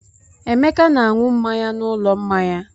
Emeka na-aṅụ mmanya n'ụlọ mmanya.